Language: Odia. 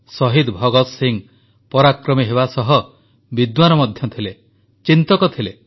ଶହୀଦ ଭଗତ ସିଂହ ପରାକ୍ରମୀ ହେବା ସହ ବିଦ୍ୱାନ ମଧ୍ୟ ଥିଲେ ଚିନ୍ତକ ଥିଲେ